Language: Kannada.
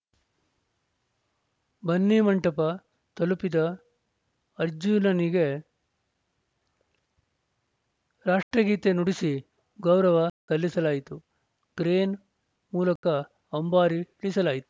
ಬನ್ನಿಮಂಟಪ ತಲುಪಿದ ಅರ್ಜುನನಿಗೆ ರಾಷ್ಟ್ರಗೀತೆ ನುಡಿಸಿ ಗೌರವ ಸಲ್ಲಿಸಲಾಯಿತು ಕ್ರೇನ್‌ ಮೂಲಕ ಅಂಬಾರಿ ಇಳಿಸಲಾಯಿತು